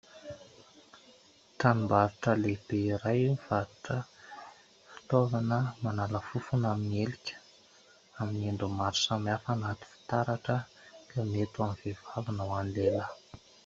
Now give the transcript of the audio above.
Tranom- barotra lehibe iray mivarotra fitaovana manala fofona amin'ny helika amin'ny endriny maro samy hafa anaty fitaratra, mety amin'ny vehivavy na hoan'ny lehilahy.